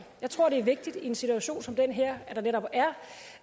jeg tror det er vigtigt i en situation som den her at der netop